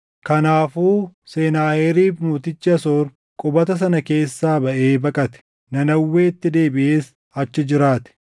Kanaafuu Senaaheriib mootichi Asoor qubata sana keessaa baʼee baqate; Nanawweetti deebiʼees achi jiraate.